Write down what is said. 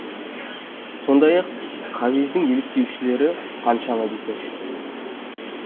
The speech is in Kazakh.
сондай ақ хавиздің еліктеушілері қаншама десеңізші